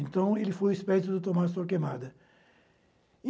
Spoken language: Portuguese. Então, ele foi o espécie do Tomás Torquemada. E